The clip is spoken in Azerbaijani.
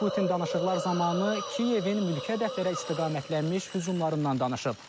Putin danışıqlar zamanı Kiyevin mülki hədəflərə istiqamətlənmiş hücumlarından danışıb.